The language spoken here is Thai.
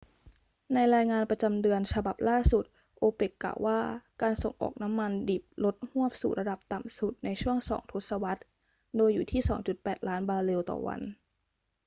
ในรายงานประจำเดือนฉบับล่าสุด โอเปกกล่าวว่าการส่งออกน้ำมันดิบลดฮวบสู่ระดับต่ำสุดในช่วงสองทศวรรษ โดยอยู่ที่ 2.8 ล้านบาร์เรลต่อวัน